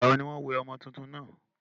ìgbà wo ní wọ́n wẹ ọmọ túntún náà?